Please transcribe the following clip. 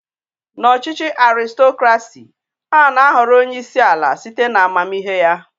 N'ọchịchị Arịstokrasị, ana ahọrọ onyeisi ala site na amamihe ya.